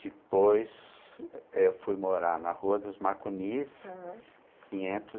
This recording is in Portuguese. Depois, eu fui morar na Rua dos Macunis, aham, quinhentos